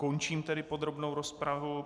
Končím tedy podrobnou rozpravu.